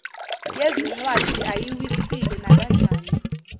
yezincwadi ayiwisile nakanjani